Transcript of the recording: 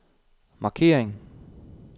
markering